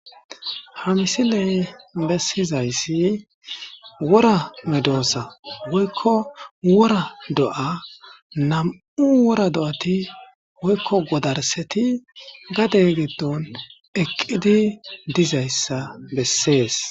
Ha misiley bessizayssi wora medosa woykko wora do'a nam'u wora do'ati woykko godarseti gade giddon eqqidi dizayssa bessees.